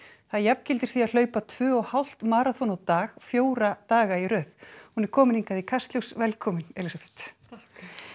það jafngildir því að hlaupa tvö og hálft maraþon á dag fjóra daga í röð hún er komin hingað í Kastljós velkomin Elísabet takk